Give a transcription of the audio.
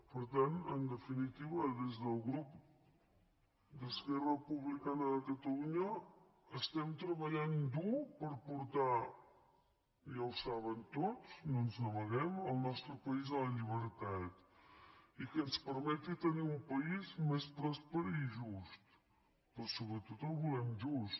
per tant en definitiva des del grup d’esquerra republicana de catalunya estem treballant dur per portar ja ho saben tots no ens n’amaguem el nostre país a la llibertat i que ens permeti tenir un país més pròsper i just però sobretot el volem just